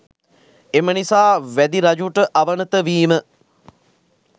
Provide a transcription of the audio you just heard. එම නිසා වැදි රජුට අවනත වීම